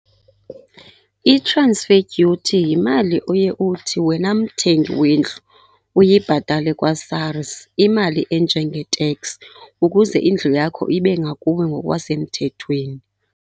I-transfer duty yimali oye uthi wena mthengi wendlu uyibhatale kwaSARS, imali enjengeteksi ukuze indlu yakho ibe ngakuwe ngokwasemthethweni.